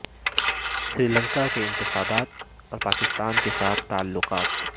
سری لنکا کے انتخابات اور پاکستان کے ساتھ تعلقات